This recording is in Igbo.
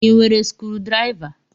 I nwere sukudiriva?